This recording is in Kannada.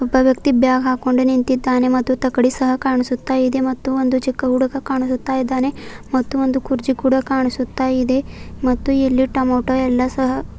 ಒಬ್ಬ ವ್ಯಕ್ತಿ ಬ್ಯಾಗ್ ಹಾಕೊಂಡು ನಿಂತಿದ್ದಾನೆ ಮತ್ತು ತಕ್ಕಡಿ ಸಹ ಕಾಣಿಸುತ್ತ ಇದೆ ಮತ್ತು ಒಂದು ಚಿಕ್ಕ ಹುಡುಗ ಕಾಣಿಸುತ್ತ ಇದ್ದಾನೆ ಮತ್ತು ಒಂದು ಕುರ್ಚಿ ಕೂಡ ಕಾಣಿಸುತ್ತ ಇದೆ ಮತ್ತು ಇಲ್ಲಿ ಟೊಮೇಟೊ ಎಲ್ಲ ಸಹ --